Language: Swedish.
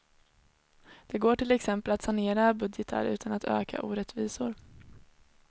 Det går till exempel att sanera budgetar utan att öka orättvisor.